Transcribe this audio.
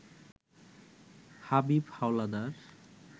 Habib Howlader